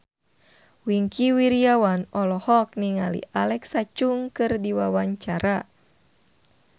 Wingky Wiryawan olohok ningali Alexa Chung keur diwawancara